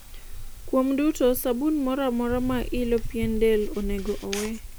kuom duto, sabun moro amora ma ilo pien del onego owe